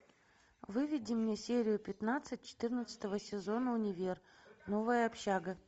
выведи мне серию пятнадцать четырнадцатого сезона универ новая общага